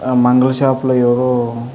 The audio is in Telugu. మంగలి షాప్ లో ఎవరో --